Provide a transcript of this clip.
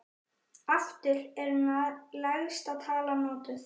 Aftur er lægsta tala notuð.